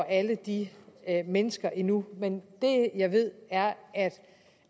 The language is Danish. alle de mennesker endnu men det jeg ved er